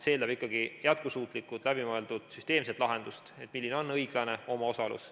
See eeldab ikkagi jätkusuutlikult läbimõeldud süsteemset lahendust, milline on õiglane omaosalus.